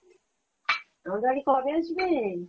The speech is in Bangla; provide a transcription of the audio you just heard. আমাদের বাড়ি কবে আসবেন?